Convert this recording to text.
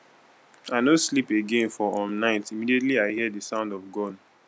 i no sleep again for um night immediately i hear di sound of gun